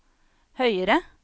høyere